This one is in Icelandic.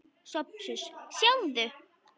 SOPHUS: Sjáðu!